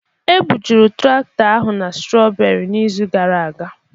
Ebujuru traktọ ahụ na strooberi n'izu gara aga.